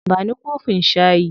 Ba ni kofin shayi.